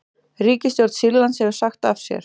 Ríkisstjórn Sýrlands hefur sagt af sér